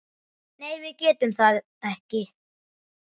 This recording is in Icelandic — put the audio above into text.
Nei það getum við ekki.